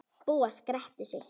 Bóas gretti sig.